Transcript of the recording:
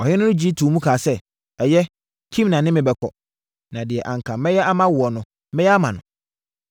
Ɔhene no gye too mu kaa sɛ, “Ɛyɛ, Kimham ne me bɛkɔ, na deɛ anka mɛyɛ ama woɔ no, mɛyɛ ama no.”